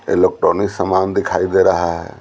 Electronic सामान दिखाई दे रहा है।